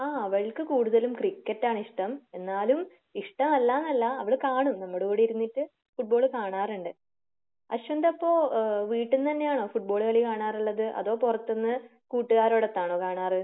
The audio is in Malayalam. ആഹ് അവൾക്ക് കൂടുതലും ക്രിക്കറ്റ് ആണ് ഇഷ്ടം. എന്നാലും ഇഷ്ടമല്ലാ എന്നല്ല അവള് കാണും നമ്മുടെ കൂടെ ഇരുന്നിട്ട് ഫുട്ബാൾ കാണാറുണ്ട്. അശ്വിന്റെ അപ്പൊ ഏഹ് വീട്ടിൽ നിന്ന് തന്നെയാണോ ഫുട്ബോൾ കളി കാണാറുള്ളത്? അതോ പുറത്തിന്ന് കൂട്ടുകാരോടൊത്താണോ കാണാറ്?